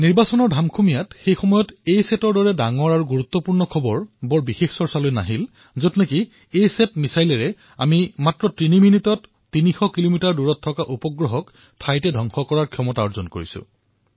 নিৰ্বাচনৰ ধামখুমীয়াত এছেটৰ দৰে বৃহৎ খবৰ তল পৰি ৰৈছিল যত আমি এছেটৰ মিছাইলৰ দ্বাৰা কেৱল তিনি মিনিটত তিনিশ কিলোমিটাৰ দূৰৰ উপগ্ৰহ ধৰাশায়ী কৰাৰ ক্ষমতা লাভ কৰিছিলো